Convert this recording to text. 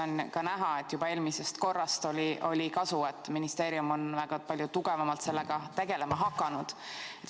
On ka näha, et juba eelmisest korrast oli kasu, et ministeerium on väga palju tugevamalt sellega tegelema hakanud.